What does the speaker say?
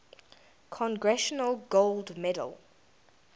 congressional gold medal